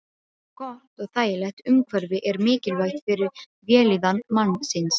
Gott og þægilegt umhverfi er mikilvægt fyrir vellíðan mannsins.